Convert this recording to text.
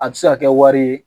A bi se ka kɛ wari ye